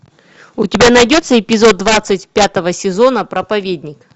у тебя найдется эпизод двадцать пятого сезона проповедник